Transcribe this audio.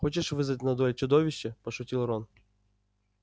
хочешь вызвать на дуэль чудовище пошутил рон